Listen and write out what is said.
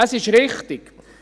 Das ist richtig.